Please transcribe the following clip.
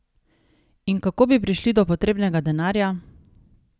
In kako bi prišli do potrebnega denarja?